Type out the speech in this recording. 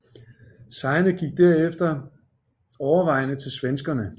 Sejrene gik derefter overvejende til svenskerne